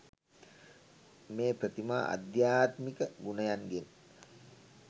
මේ ප්‍රතිමා අධ්‍යාත්මික ගුණයන්ගෙන්